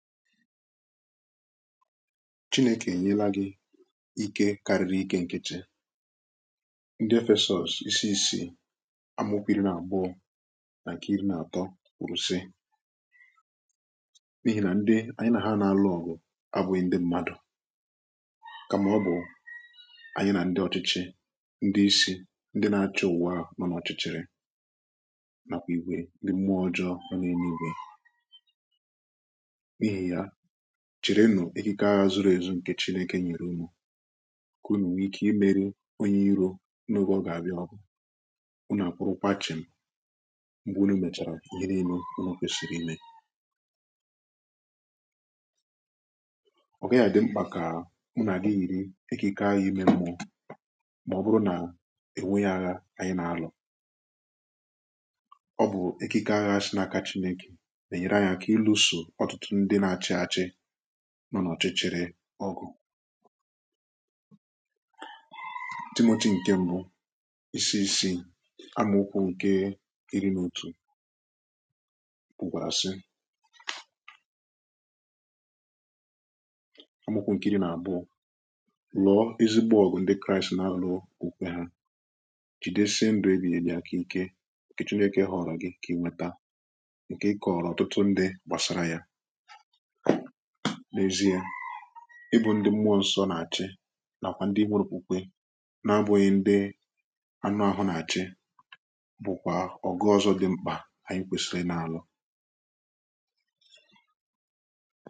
chine kà ẹ̀nyẹla gị ike karịrị ike nke chi ndị efẹsọsụ̀ isi isì amukwo iri nà abụọ nà kà iri nà atọ kwùrù si n’ihi nà ndị anyị nà ha nà-alụ̀ ọ̀gụ̀ abụghị ndị m̀madụ̀ kàmà ọ bụ̀ anyị nà ndɪ ọ̀chịchị ndị isi ndị nà-achọ ụ̀wà nọ n’ọ̀chịchịrị nàkwà ìgwè ndị m̀mùa ọjọọ nọ n’ẹ̀nẹ̀ igwè chiri nù ikike aghà zuru ezù ǹkè chinėkè nyèrè umù kà unù nwee ike imerì onyè iro n’ogè ọgà abịà ọbụ̀ unù àkwụrụkwà chị̀ m̀ mgbe unù mèchàrà onye n’ime onu kwèsìrì imè ọ̀gaghị̀ dị mkpà kà unù àgighi yiri ikike aghà imè m̀mụ̀ọ̀ mà ọ̀ bụrụ nà ènweghi aghà ànyị nà-alụ̀ ọ bụ̀ ikike aghà si n’aka chinėkè nọ nà ọ̀chịchịrị ọgụ dịmoti ǹkẹ̀ m̀bụ isi isi amụkwa ǹkẹ̀ iri nà otù pụ̀kwàrà sị amụkwa ǹkẹ̀ iri nà abụọ lọ̀ọ izigbȯ ọ̀gụ̀ ndị kraịst nà-àrọ òke ha jidesie ǹdụ ebìghieghị aka ǹkẹ̀ ǹkẹ̀ chineke ha ọrọ gị kà i nweta ǹkẹ̀ ị kọ̀rọ̀ ọtụtụ ndị gbàsara ya i bu ndi m̀mụọ ǹsọ nà-àchị nàkwà ndi ime nà-akwụkwọ na-abụghị ndi anụ ahụ nà-àchị bụkwa ọ̀gụ̀ ọzọ dị m̀kpa anyị kwesiri nà-àlụ